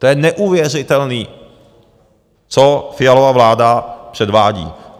To je neuvěřitelný, co Fialova vláda předvádí.